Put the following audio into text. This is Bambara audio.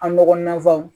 An dɔgɔnin na fɔ